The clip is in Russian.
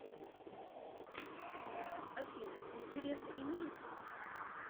афина интересы имеются